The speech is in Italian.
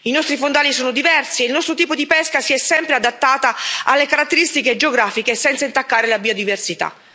I nostri fondali sono diversi, e il nostro tipo di pesca si è sempre adattato alle caratteristiche geografiche, senza intaccare la biodiversità.